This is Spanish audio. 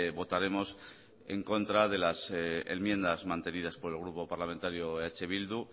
votaremos en contra de las enmiendas mantenidas por el grupo parlamentario eh bildu